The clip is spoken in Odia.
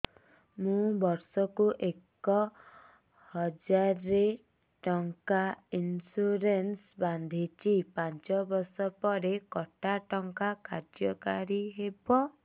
ମୁ ବର୍ଷ କୁ ଏକ ହଜାରେ ଟଙ୍କା ଇନ୍ସୁରେନ୍ସ ବାନ୍ଧୁଛି ପାଞ୍ଚ ବର୍ଷ ପରେ କଟା ଟଙ୍କା କାର୍ଯ୍ୟ କାରି ହେବ